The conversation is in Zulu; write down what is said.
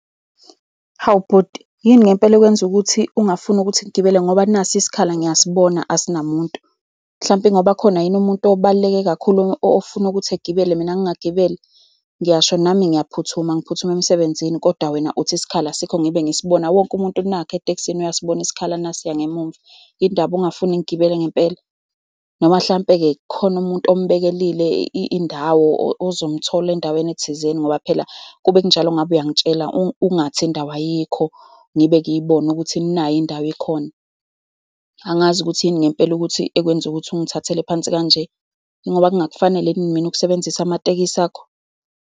Hawu bhuti, yini ngempela ekwenza ukuthi ungafuni ukuthi ngigibele, ngoba nasi isikhala ngiyasibona asinamuntu? Mhlampe ingoba kukhona yini umuntu obaluleke kakhulu ofuna ukuthi egibele, mina ngingagibeli? Ngiyasho nami ngiyaphuthuma, ngiphuthuma emsebenzini, kodwa wena uthi isikhala asikho, ngibe ngisibona. Wonke umuntu nakhu etekisini uyasibona isikhala. Nasiya ngemumva. Yini ndaba ungafuni ngigibele ngempela? Noma mhlampe-ke kukhona umuntu ombekele indawo, ozomthola endaweni ethizeni, ngoba phela ukube kunjalo ngabe uyangitshela. Ungathi indawo ayikho, ngibe ngiyibona ukuthi nayi indawo ikhona. Angazi ukuthi yini ngempela ukuthi, ekwenze ukuthi ungithathele phansi kanje. Yingoba ngingakufanele yini mina ukusebenzisa amatekisi akho?